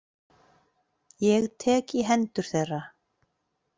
Ég tek í hendur þeirra.